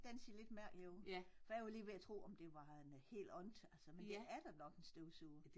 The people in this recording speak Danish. Den ser lidt mærkelig ud for jeg var lige ved at tro om det var en helt andet altså men det er da nok en støvsuger